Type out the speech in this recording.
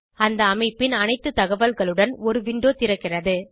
அந்த அமைப்பின் அனைத்து தகவல்களுடன் ஒரு விண்டோ திறக்கிறது